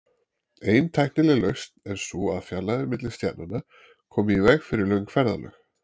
Ein tæknileg lausn er sú að fjarlægðir milli stjarnanna komi í veg fyrir löng ferðalög.